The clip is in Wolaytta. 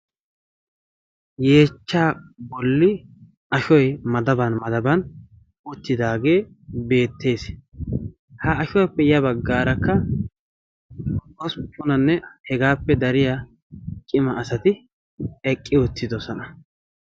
yeechcha bolli ashoy madaban madaban uttidaagee beettees. ha ashuwappe ya baggaarakka hosppunanne hegaappe dariya cima asati eqqi uttidosona.